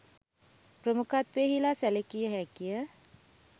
ප්‍රමුඛත්වයෙහිලා සැලකිය හැකි ය.